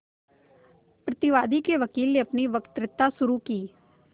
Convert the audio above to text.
प्रतिवादी के वकील ने अपनी वक्तृता शुरु की